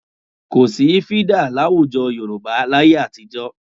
Kò sí fídà láwùjọ Yorùbá láyé àtijọ́